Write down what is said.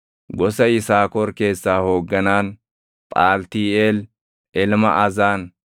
gosa Yisaakor keessaa hoogganaan, Phaaltiiʼeel ilma Azaan;